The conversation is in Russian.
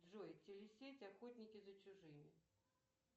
джой телесеть охотники за чужими